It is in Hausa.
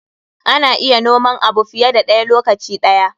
Ana iya noman abu fiye da ɗaya lokaci ɗaya.